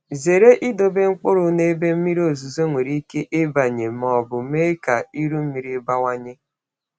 Zere idobe mkpụrụ n’ebe mmiri ozuzo nwere ike ịbanye ma ọ bụ mee ka iru mmiri bawanye.